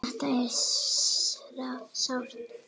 Þetta er sárt.